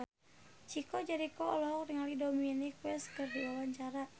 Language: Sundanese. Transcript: Chico Jericho olohok ningali Dominic West keur diwawancara